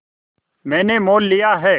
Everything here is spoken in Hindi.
मैंने मोल लिया है